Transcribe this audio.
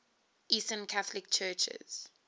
eastern catholic churches